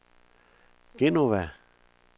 Genova